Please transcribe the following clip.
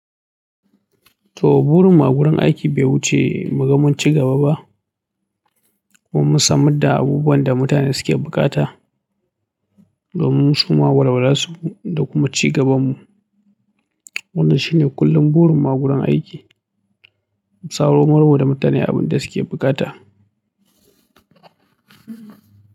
To, burin mu a wurin aiki bai wuce mu ga mun ci gaba ba, kuma mun samar da abubuwan da mutane suke buƙata domin su ma walwalar su da kuma ci gaban mu. Wannan shine kullum burin mu a wurin aiki, mu samarwa da mutane abin da suke bukata.